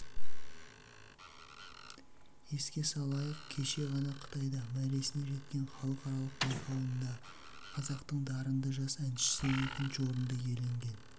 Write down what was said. еске салайық кеше ғана қытайда мәресіне жеткен халықаралық байқауында қазақтың дарынды жас әншісі екінші орынды иеленген